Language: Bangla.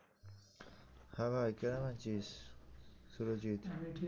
হ্যাঁ ভাই কেমন আছিস? সুরজিৎ